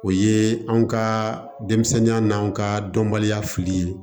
O ye anw ka denmisɛnninya n'an ka dɔnbaliya fili ye